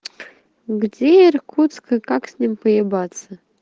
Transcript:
где иркутск и как с ним поебаться